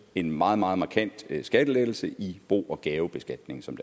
en meget meget markant skattelettelse i bo og gavebeskatning som